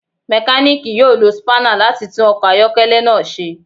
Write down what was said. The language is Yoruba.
Mekaniki yoo lo spanner lati tun ọkọ ayọkẹlẹ naa ṣe